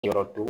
Yɔrɔ don